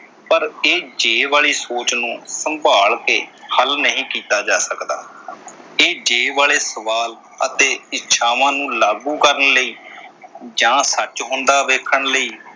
ਪਰ ਇਹ ਜੇ ਵਾਲੀ ਸੋਚ ਨੂੰ ਸੰਭਾਲ ਕੇ ਹੱਲ ਨਹੀਂ ਕੀਤਾ ਜਾ ਸਕਦਾ। ਇਹ ਜੇ ਵਾਲੇ ਸਵਾਲ ਅਤੇ ਇੱਛਾਵਾਂ ਨੂੰ ਲਾਗੂ ਕਰਨ ਲਈ ਜਾਂ ਸੱਚ ਹੁੰਦਾ ਵੇਖਣ ਲਈ,